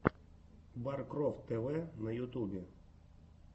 баркрофт тэ вэ на ютюбе